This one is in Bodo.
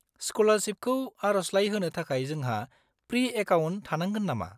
-सक्लारसिपखौ आरजलाइ होनो थाखाय जोंहा प्रि-एकाउन्ट थानांगोन नामा?